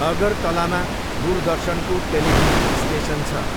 अगरतलामा दूरदर्शनको television station छ।